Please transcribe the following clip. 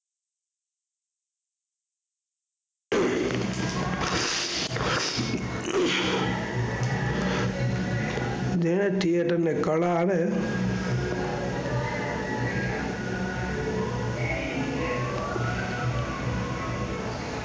જે Theater ને કળા અને